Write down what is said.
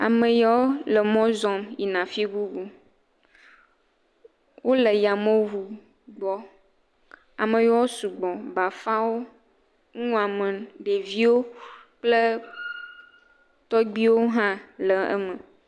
Ame yawo le mɔ zɔm yina afi bubu. Wole yameŋu gbɔ. Ame yawo sugbɔ, bafawo, nuwɔame, ɖeviwo kple tɔgbiwo hã le eme.